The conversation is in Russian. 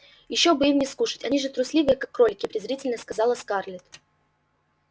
ещё бы им не скушать они же трусливые как кролики презрительно сказала скарлетт